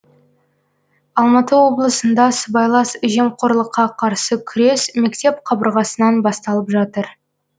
алматы облысында сыбайлас жемқорлыққа қарсы күрес мектеп қабырғасынан басталып жатыр